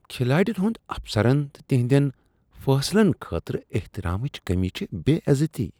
کھلاڑین ہند افسرن تہٕ تہندین فیصلن خٲطرٕ احترامچ کمی چھ بے عزتی۔